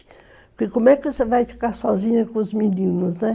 Porque como é que você vai ficar sozinha com os meninos, né?